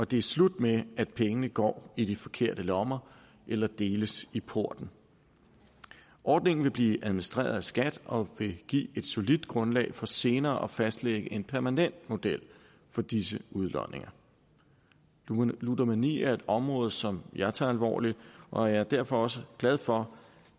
det er slut med at pengene går i de forkerte lommer eller deles i porten ordningen vil blive administreret af skat og vil give et solidt grundlag for senere at fastlægge en permanent model for disse udlodninger ludomani er et område som jeg tager alvorligt og jeg er derfor også glad for